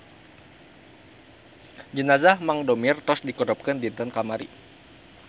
Jenazah Mang Domir tos dikurebkeun dinten kamari